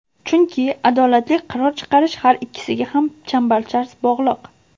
Chunki adolatli qaror chiqarish har ikkisiga ham chambarchas bog‘liq.